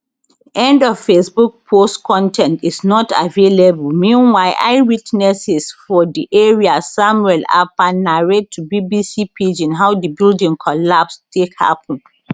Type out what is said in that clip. end of facebook post con ten t is not available meanwhile eyewitnesses for di area samuel akpan narrate to bbc pidgin how di building collapse take happun